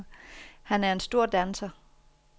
Han er en stor danser.